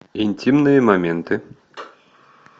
интимные моменты